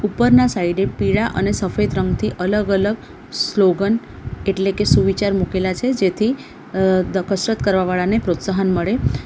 ઉપરના સાઈડે પીળા અને સફેદ રંગથી અલગ-અલગ સ્લોગન એટલે કે સુવિચાર મૂકેલા છે જેથી અહ ધ કસરત કરવા વાળા ને પ્રોત્સાહન મળે.